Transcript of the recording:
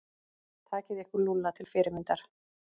Takið ykkur Lúlla til fyrirmyndar.